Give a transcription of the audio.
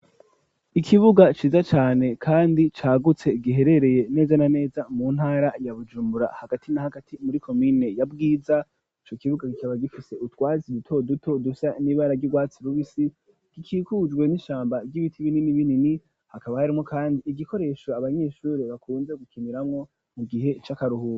Ikibuga ciza cane kandi cagutse ,giherereye neza na neza, mu ntara ya bujumbura hagati n'a hagati muri komine ya bwiza, ico kibuga gikaba gifise utwatsi duto duto, dusa n'ibara ry'ubwatsi rubisi, gikikujwe n'ishamba ry'ibiti binini binini ,hakaba harimwo kandi igikoresho Abanyeshuri bakunze gukiniramwo mu gihe c'akaruhura.